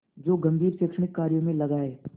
जो गंभीर शैक्षणिक कार्यों में लगा है